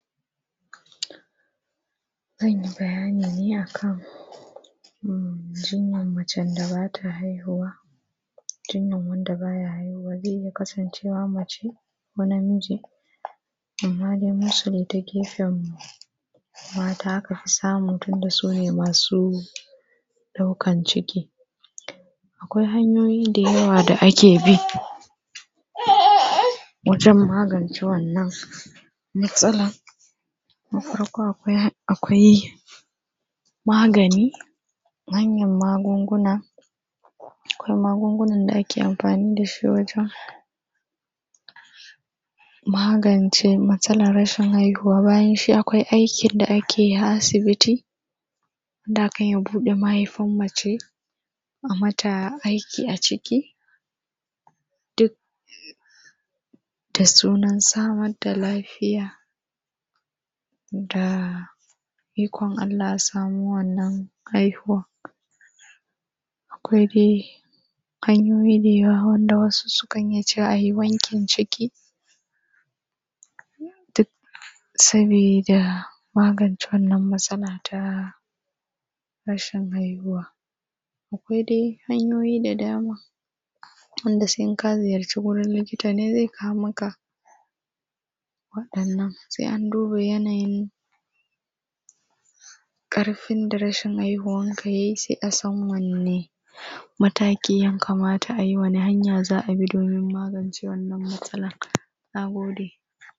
Zan yi bayani ne a kan jinyan macen da ba ta haihuwa. Jinyan wanda ba ya haihuwa zai iya kasancewa mace ko namiji. Amma dai mostly ta gefen mata aka fi samu tunda su ne masu ɗaukan ciki. Akwai hanyoyi da yawa da ake bi wajen magance wannan matsalan. Na farko akwai magani, manyan magunguna, akwai magungunan da ake amfani da shi wajen magance matsalar rashin haihuwa. Bayan shi akwai aikin da ake yi a Asibiti, inda akan iya buɗe mahaifan mace, a mata aiki a ciki, duk da sunan samar da lafiya, da ikon Allah za a samu wannan haihuwan. Akwai dai hanyoyi da yawa wanda wasu sukan iya cewa a yi wankin ciki, duk sabida magance wannan matsala ta rashin haihuwa. Akwai dai hanyoyi da dama, wanda sai in ka ziyarci wajen likita ne zai kawo maka waɗannan, sai an duba yanayin ƙarfin da rashin haihuwanka ya yi sai a san wanne mataki ya kamata a bi, wane hanya za a bi domin magance wannan matsalan. Na gode.